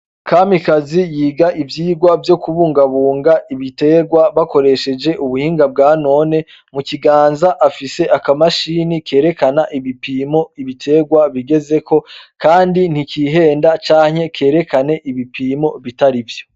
Kamikazi yiga ivyirwa vyo kubungabunga ibiterwa bakoresheje ubuhinga bwa none mu kiganza afise akamashini kerekana ibipimo ibiterwa bigezeko, kandi ntikihenda canke kerekane ibipimo bitari vyo.